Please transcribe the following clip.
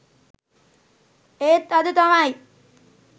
ඒත් අද තමයි